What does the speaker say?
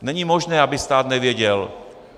Není možné, aby stát nevěděl.